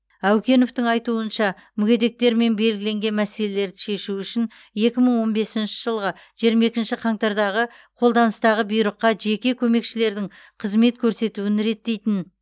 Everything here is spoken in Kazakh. әукеновтің айтуынша мүгедектермен белгіленген мәселелерді шешу үшін екі мың он бесінші жылғы жиырма екінші қаңтардағы қолданыстағы бұйрыққа жеке көмекшілердің қызмет көрсетуін реттейтін